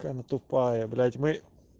какая она тупая блять мы